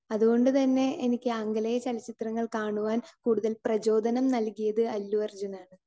Speaker 2 അതുകൊണ്ടുതന്നെ എനിക്ക് ആംഗലേയ ചലച്ചിത്രങ്ങൾ കാണുവാൻ കൂടുതൽ പ്രചോദനം നൽകിയത് അല്ലു അർജുൻ ആണ്.